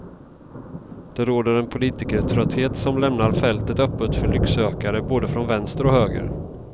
Det råder en politikertrötthet som lämnar fältet öppet för lycksökare både från vänster och höger.